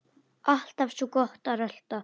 Alltaf svo gott að rölta.